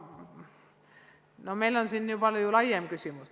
Aga meil on siin palju laiem küsimus.